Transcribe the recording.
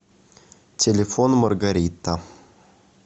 телефон маргарита